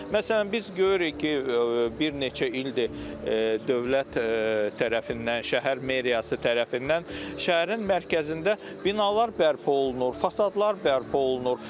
Məsələn, biz görürük ki, bir neçə ildir dövlət tərəfindən, şəhər meriyası tərəfindən şəhərin mərkəzində binalar bərpa olunur, fasadlar bərpa olunur.